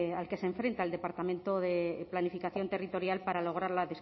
al que se enfrenta el departamento de planificación territorial para lograr la